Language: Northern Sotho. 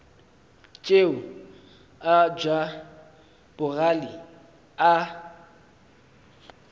tšeo a ja bogale a